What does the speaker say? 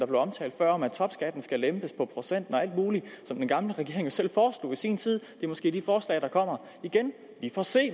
blev omtalt før om at topskatten skal lempes og alt muligt som den gamle regering selv foreslog i sin tid er måske de forslag der kommer igen vi får se